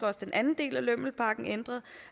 også den anden del af lømmelpakken ændres